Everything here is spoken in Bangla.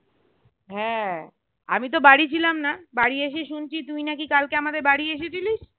হ্যাঁ আমিতো বাড়ি ছিলাম না বাড়ি এসে শুনছি তুই না কি কালকে আমাদের বাড়ি এসেছিলি?